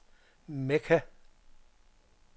Mekka